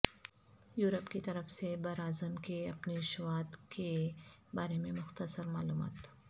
Europe کی طرف سے براعظم کے اپنیویشواد کے بارے میں مختصر معلومات